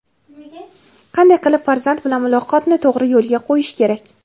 Qanday qilib farzand bilan muloqotni to‘g‘ri yo‘lga qo‘yish kerak?.